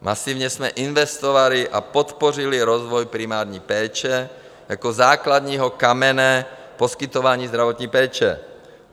Masivně jsme investovali a podpořili rozvoj primární péče jako základního kamene poskytování zdravotní péče.